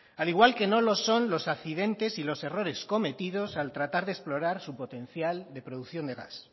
al igual que no lo son los accidentes y los errores cometidos al tratar de explorar su potencial de producción gas